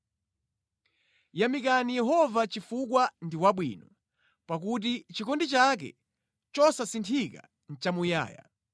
Yamikani Yehova chifukwa ndi wabwino. Pakuti chikondi chake chosasinthika nʼchamuyaya.